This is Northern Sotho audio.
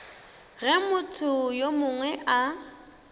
ge motho yo mongwe a